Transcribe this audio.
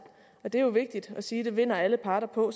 og det er jo vigtigt at sige det vinder alle parter på